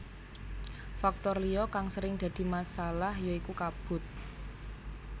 Faktor liya kang sering dadi masalah ya iku kabut